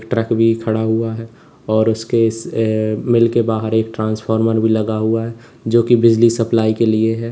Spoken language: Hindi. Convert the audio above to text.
ट्रक भी खड़ा हुआ है और उसके मिल के बाहर एक ट्रांसफार्मर भी लगा हुआ है जो की बिजली सप्लाई के लिए है।